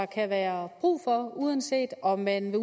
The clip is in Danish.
kan være brug for uanset om man